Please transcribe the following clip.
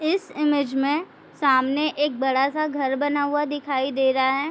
इस इमेज में सामने एक बड़ा सा घर बना हुआ दिखाई दे रहा है।